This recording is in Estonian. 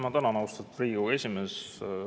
Ma tänan, austatud Riigikogu esimees!